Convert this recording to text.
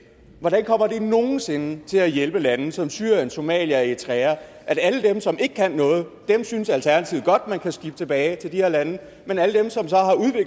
hvordan kommer det nogen sinde til at hjælpe lande som syrien somalia og eritrea at alle dem som ikke kan noget synes alternativet godt man kan skibe tilbage til de her lande men alle dem der så